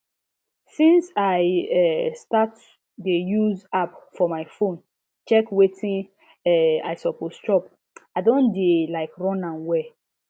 since i um start dey use app for my phone check wetin um i suppose chop i don dey um run am well